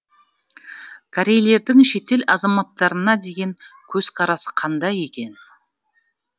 корейлердің шетел азаматтарына деген көзқарасы қандай екен